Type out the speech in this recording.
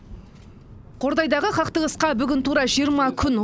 қордайдағы қақтығысқа бүгін тура жиырма күн